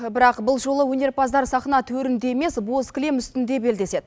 бірақ бұл жолы өнерпаздар сахна төрінде емес бос кілем үстінде белдеседі